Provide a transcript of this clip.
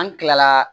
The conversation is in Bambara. An kila la